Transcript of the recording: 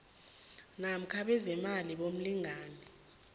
namkha bezeemali bomlingani